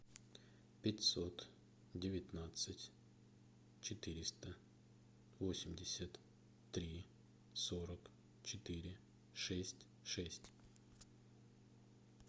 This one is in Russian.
пятьсот девятнадцать четыреста восемьдесят три сорок четыре шесть шесть